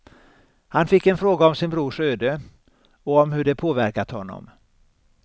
Han fick en fråga om sin brors öde, och om hur det påverkat honom.